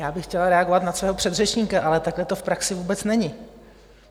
Já bych chtěla reagovat na svého předřečníka, ale takhle to v praxi vůbec není!